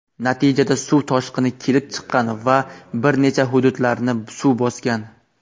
Natijada suv toshqini kelib chiqqan va bir necha hududlarni suv bosgan.